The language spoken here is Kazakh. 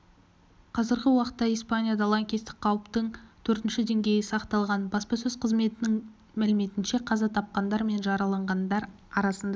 қазіргі уақытта испанияда лаңкестік қауіптің төртінші деңгейі сақталған баспасөз қызметінің мәліметінше қаза тапқандар мен жараланғандар арасында